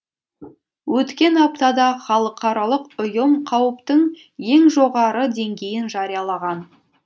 өткен аптада халықаралық ұйым қауіптің ең жоғары деңгейін жариялаған